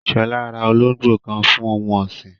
Shola ra olóngbò kan fún ohun ọ̀sìn